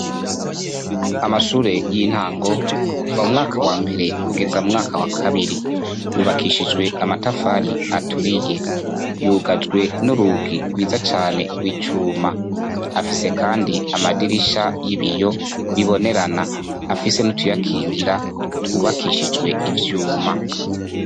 Amashure y'intango kuva mu mwaka wa mbere kugeza mu mwaka wa kabiri. Yubakishijwe amatafari aturiye. Yugajwe n'urugi rwiza cane rw'icuma. Afise kandi amadirisha y'ibiyo bibonerana, afise n'utuyakingira twubakishijwe ivyuma.